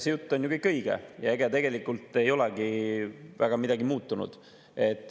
See jutt on ju kõik õige ja ega tegelikult ei olegi väga midagi muutunud.